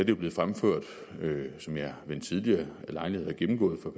jo blev fremført som jeg ved en tidligere lejlighed har gennemgået for